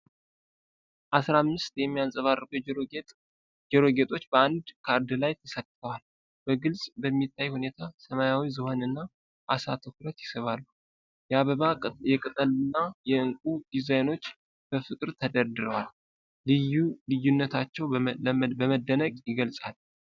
አስራ አምስት የሚያብረቀርቁ የጆሮ ጌጦች በአንድ ካርድ ላይ ተሰክተዋል። በግልጽ በሚታይ ሁኔታ ሰማያዊ ዝሆንና ዓሳ ትኩረት ይስባሉ። የአበባ፣ የቅጠልና የእንቁ ዲዛይኖች በፍቅር ተደርድረዋል። ልዩ ልዩነታቸው በመደነቅ ይገልጻል።